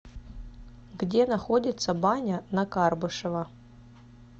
где находится баня на карбышева